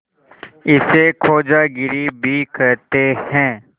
इसे खोजागिरी भी कहते हैं